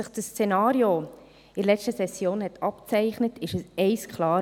Als sich das Szenario in der letzten Session abzeichnete, wurde eines klar: